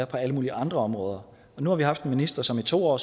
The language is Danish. på alle mulige andre områder nu har vi haft en minister som i to år